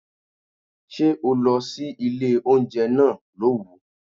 Ṣé o lọ sí ilé oúnjẹ náà lówù?